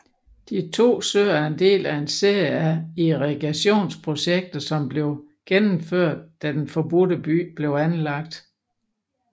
De to søer er del af en serie av irrigationsprojekter som blev gennomført da Den forbudte by blev anlagt